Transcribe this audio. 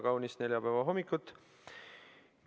Kena kaunist neljapäeva hommikut!